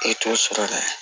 E t'o sɔrɔ dɛ